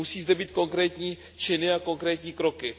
Musí zde být konkrétní činy a konkrétní kroky.